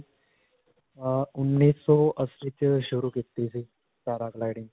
ਅਅ ਉੰਨੀਸੌ ਅੱਸੀ 'ਚ ਸ਼ੁਰੂ ਕੀਤੀ ਸੀ paragliding